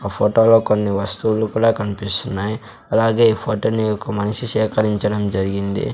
ఆ ఫోటోలో కొన్ని వస్తువులు కూడా కన్పిస్తున్నాయ్ అలాగే ఈ ఫోటో ని ఒక మనిషి సేకరించడం జరిగింది.